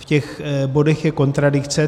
V těch bodech je kontradikce.